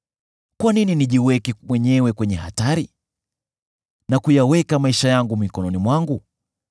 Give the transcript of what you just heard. Kwa nini nijiweke mwenyewe kwenye hatari na kuyaweka maisha yangu mikononi mwangu?